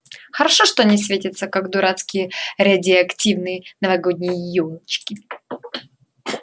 хорошо что они светятся как дурацкие радиоактивные новогодние ёлочки